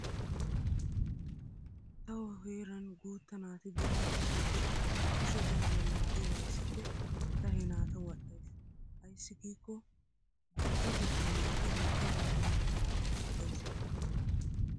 Tawu heeran guutta naati biron dicciiddi kushe gaariya laaggi waayissikko ta he naata wadhdhayss. Ayssi giikko guuttatettan naati woggabaa amottiyode lo'ees.